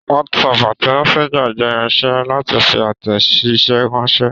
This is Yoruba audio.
WhatsApp àti Messenger jẹ́ irinṣe láti fi àtẹ̀jíṣẹ́ ránṣẹ́.